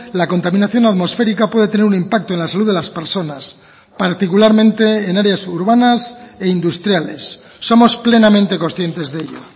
la contaminación atmosférica puede tener un impacto en la salud de las personas particularmente en áreas urbanas e industriales somos plenamente conscientes de ello